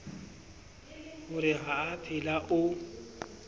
ho re ha aphela o